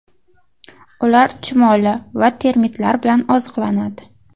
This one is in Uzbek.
Ular chumoli va termitlar bilan oziqlanadi.